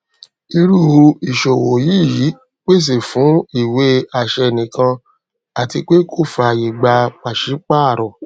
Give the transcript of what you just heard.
irú ìṣòwò yìí pèsè fún ìwé àṣẹ nìkan àti pé kò fàyè gba pàṣípàrọ